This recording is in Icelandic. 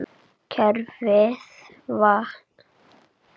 Kerfið vaktar sig sjálft.